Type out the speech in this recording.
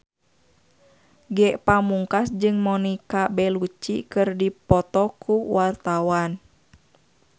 Ge Pamungkas jeung Monica Belluci keur dipoto ku wartawan